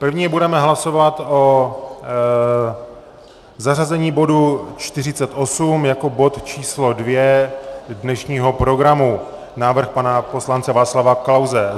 První budeme hlasovat o zařazení bodu 48 jako bod číslo 2 dnešního programu, návrh pana poslance Václava Klause.